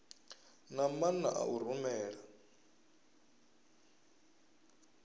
na maana a u rumela